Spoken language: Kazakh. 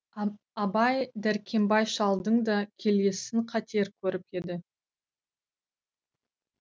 абай дәркембай шалдың да келісін қатер көріп еді